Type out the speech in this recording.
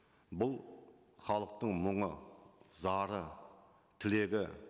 бұл халықтың мұңы зары тілегі